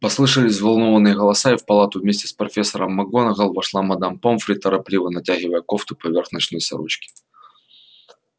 послышались взволнованные голоса и в палату вместе с профессором макгонагалл вошла мадам помфри торопливо натягивая кофту поверх ночной сорочки